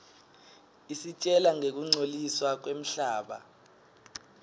isitjela ngekungcoliswa kwemhlaba